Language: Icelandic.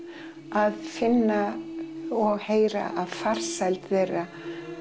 að finna og heyra af farsæld þeirra